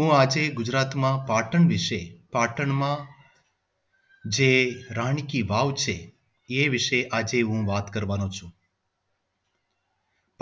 હું આજે ગુજરાતના પાટણ વિશે પાટણ માં જે રાણી કી વાવ છે એ વિશે આજે હું વાત કરવાનો છું